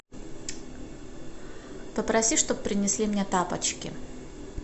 попроси чтобы принесли мне тапочки